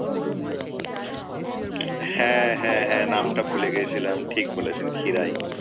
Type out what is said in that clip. হ্যাঁ হ্যাঁ হ্যাঁ নামটা ভুলে গেছিলাম, ঠিক বলেছেন খিরাই।